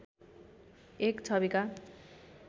एक छविका